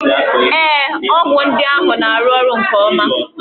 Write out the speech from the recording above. Ee, ọgwụ ndị ahụ na-arụ ọrụ nke ọma.